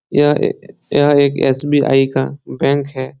यह ए यह एक एस.बी.आई. का बैंक है।